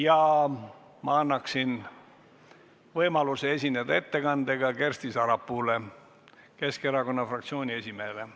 Ja ma annan võimaluse esineda ettekandega Kersti Sarapuule, Keskerakonna fraktsiooni esimehele.